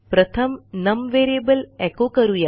प्रथम num variable echo करू या